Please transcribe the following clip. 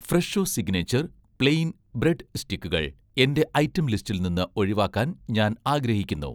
Fresho signature' plain bread സ്റ്റിക്കുകൾ എന്‍റെ item ലിസ്റ്റിൽ നിന്ന് ഒഴിവാക്കാൻ ഞാൻ ആഗ്രഹിക്കുന്നു